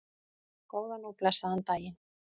Góðan og blessaðan daginn!